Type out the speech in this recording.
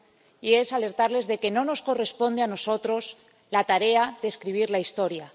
Y es alertarles de que no nos corresponde a nosotros la tarea de escribir la historia.